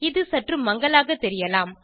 இது சற்று மங்கலாக தெரியலாம்